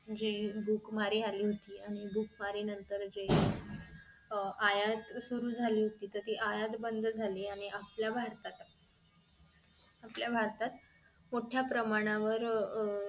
जी भूक मारी आली होती आणि भूक मारी नंतर जे आयात सुरु झाली होती तर ती आयात बंद झाली आणि आपल्या भारतात आपल्या भारतात मोठ्या प्रमाणावर